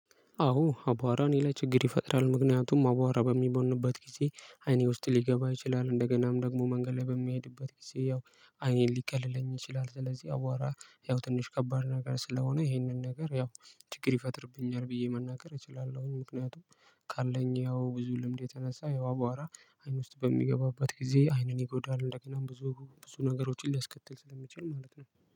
አዎ አቧራ እኔ ላይ ችግር ይፈጥራል ምክንያቱም አቧራ በሚቦንበት ጊዜ አይኔ ውስጥ ሊገባ ይችላል እንደገናም ደግሞ መንገድ ላይ በምሄድበት ጊዜ ያው አይኔን ሊከልለኝ ይችላል። ስለዚህ አቧራ ያው ትንሽ ከባድ ነገር ስለሆነ ይሄንን ነገር ያው ችግር ይፈጥርብኛል ብዬ መናገር እችላለሁኝ። ምክንያቱም ካለኝ ያው ብዙ ልምድ የተነሳ ያው አቧራ አይን ውስጥ በሚገባባት ጊዜ አይንን ይጎዳል። እንደገናም ብዙ ብዙ ነገሮችን ሊያስከትል ስለሚችል ማለት ነው።